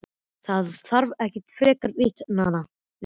Það þarf ekki frekar vitnanna við.